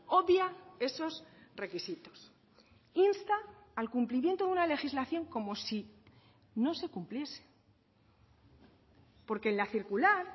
obvia esos requisitos insta al cumplimiento de una legislación como si no se cumpliese porque en la circular